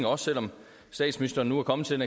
også selv om statsministeren nu er kommet til